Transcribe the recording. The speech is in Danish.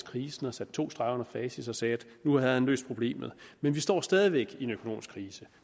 krisen og satte to streger under facit og sagde at nu havde han løst problemet men vi står stadig væk i en økonomisk krise